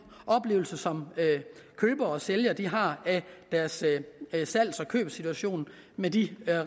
oplevelse som købere og sælgere har af deres salgs og købssituation med de